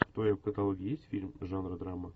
в твоем каталоге есть фильм жанра драма